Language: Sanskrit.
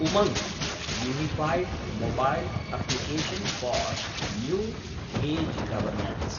Umang – unified mobile application for new age governance